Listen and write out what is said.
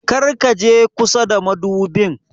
Kar ka je kusa da madubin.